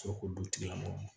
Ka sɔrɔ k'o dutigilamɔgɔw